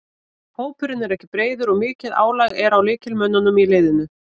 Hópurinn er ekki breiður og mikið álag er á lykilmönnunum í liðinu.